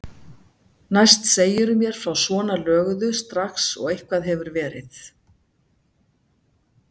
Næst segirðu mér frá svona löguðu strax og eitthvað hefur verið.